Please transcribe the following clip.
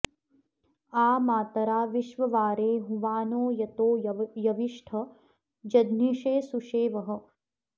आ मा॒तरा॑ वि॒श्ववा॑रे हुवा॒नो यतो॑ यविष्ठ जज्ञि॒षे सु॒शेवः॑